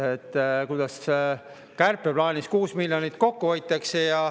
Sellest, kuidas kärpeplaanis 6 miljonit kokku hoitakse.